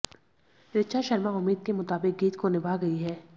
ऋचा शर्मा उम्मीद के मुताबिक गीत को निभा गईं हैं